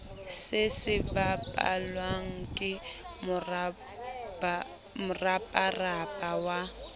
se sebapallwa ke moraparapa wa